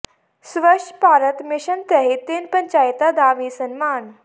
ਸਵੱਛ Bharat mission ਤਹਿਤ ਤਿੰਨ ਪੰਚਾਇਤਾਂ ਦਾ ਵੀ ਸਨਮਾਨ